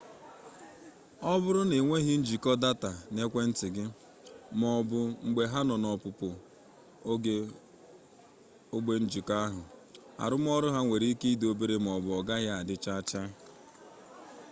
ọ bụrụ na ịnweghị njikọ data n'ekwentị gị maọbụ mgbe ha nọ n'ọpụpụ ogbe njikọ ahụ arụmọrụ ha nwere ike dị obere maọbụ ọgaghị adị chaa chaa